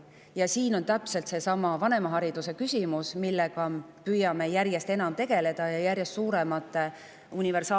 Ja sellest on kerkinud täpselt seesama vanemahariduse küsimus, millega püüame järjest enam tegeleda ja järjest suuremate universaalsete gruppideni jõuda.